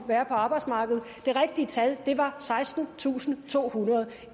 være på arbejdsmarkedet det rigtige tal var sekstentusinde og tohundrede